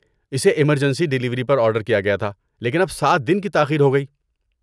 اسے emergency delivery پر order کیا گیا تھا لیکن اب سات دن کی تاخیر ہو گئی